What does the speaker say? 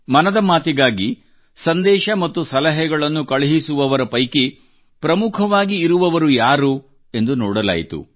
ಮನದ ಮಾತಿಗಾಗಿ ಸಂದೇಶ ಮತ್ತು ಸಲಹೆಗಳನ್ನು ಕಳುಹಿಸುವವರ ಪೈಕಿ ಪ್ರಮುಖವಾಗಿ ಇರುವವರು ಯಾರು ಎಂದು ನೋಡಲಾಯಿತು